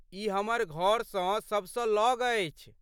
ई हमर घरसँ सबसँ लग अछि।